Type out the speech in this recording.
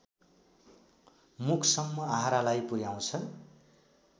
मुखसम्म आहारालाई पुर्‍याउँछ